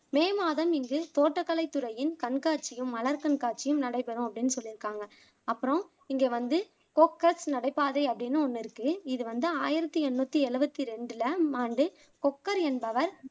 மே மாதம் இங்கு தோட்டக்கலை துறையின் கண்காட்சியும் மலர் கண்காட்சியும் நடைபெறும் அப்படின்னு சொல்லிருக்காங்க அப்பறம் இங்க வந்து கோக்கர்ஸ் நடைபாதை அப்படின்னு ஒண்ணு இருக்கு இது வந்து ஆயிரத்தி எண்ணூத்தி எழுபத்தி ரெண்டுல ஆம் ஆண்டு கொக்கர் என்பவர்